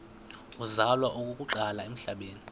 uzalwa okokuqala emhlabeni